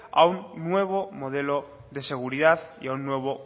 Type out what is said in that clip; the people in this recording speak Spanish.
a un nuevo modelo de seguridad y a un nuevo